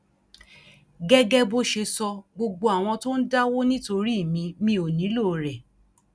gẹgẹ bó ṣe sọ gbogbo àwọn tó ń dáwó nítorí mi mi ò nílò rẹ